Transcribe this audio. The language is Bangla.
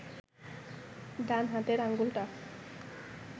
ডান হাতের আঙুলটা